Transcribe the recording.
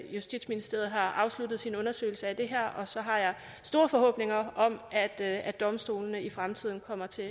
justitsministeriet har afsluttet sin undersøgelse af det her og så har jeg store forhåbninger om at at domstolene i fremtiden kommer til